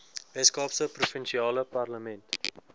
weskaapse provinsiale parlement